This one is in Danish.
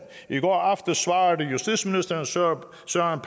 i går aftes svarede justitsministeren søren